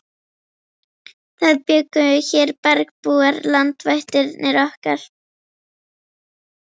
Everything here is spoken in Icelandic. Það bjuggu hér bergbúar, landvættirnar okkar.